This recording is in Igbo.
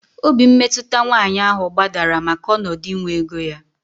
Obi mmetụta nwaanyị ahụ gbadara maka ọnọdụ inwe ego ya